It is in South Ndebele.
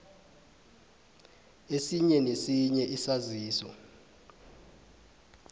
esinye nesinye isaziso